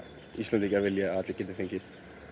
Íslendingar vilji að allir geti fengið